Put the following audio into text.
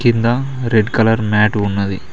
కింద red colour mat ఉన్నది.